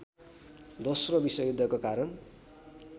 दोश्रो विश्वयुद्धको कारण